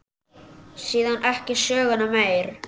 Síðan ekki söguna meir.